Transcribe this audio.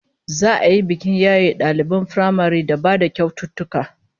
Za'a yi bikin yaye daliban firamaren da ba da kyaututtuka